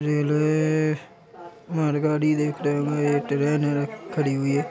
Rail है एएए मालगाड़ी देख रहे ये ट्रेन है खड़ी हुई है।